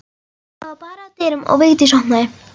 Það var barið að dyrum og Vigdís opnaði.